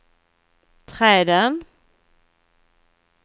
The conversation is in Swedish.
träden